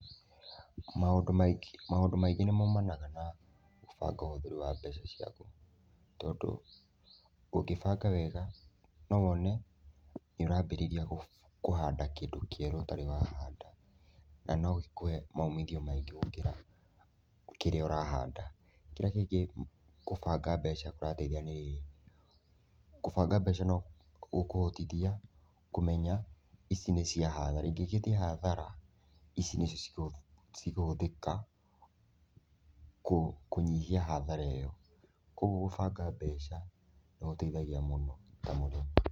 Maũndũ maingĩ nĩ maumanaga na gũbanga ũhũthĩri wa mbeca ciaku, tondũ ũngĩbanga wega no wone nĩũrambĩrĩria kũhanda kĩndũ kĩerũ ũtarĩ wahanda. Na no gĩkũhe maumithio maingĩ gũkĩra kĩrĩa ũrahanda. Kĩrĩa kĩngĩ kũbanga mbeca kũrateithia ni rĩrĩ, kũbanga mbeca no gũkũhotithia kũmenya ici nĩ cia hathara. Ingĩgĩthiĩ hathara, ici nĩcio cikũhũthĩka kũnyihia hathara ĩyo. Kogwo kubanga mbeca nĩ gũteithagia mũno na mũno.